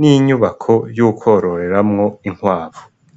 n'inyubako yo kwororeramwo inkwavu.